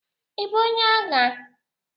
Ị bụ onye agha?